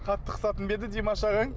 қатты қысатын ба еді димаш ағаң